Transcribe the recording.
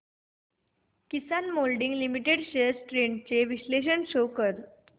किसान moulding limited shares trends चे विश्लेषण show कर